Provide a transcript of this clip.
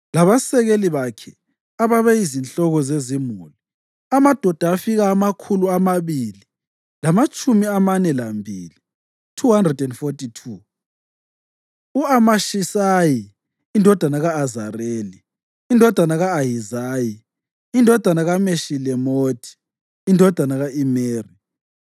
labasekeli bakhe, ababe yizinhloko zezimuli, amadoda afika amakhulu amabili lamatshumi amane lambili (242); u-Amashisayi indodana ka-Azareli, indodana ka-Ahizayi, indodana kaMeshilemothi, indodana ka-Imeri,